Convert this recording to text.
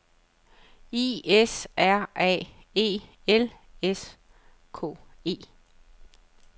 I S R A E L S K E